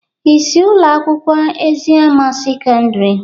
Ị si Ụlọ akwụkwọ Eziama sekọndrị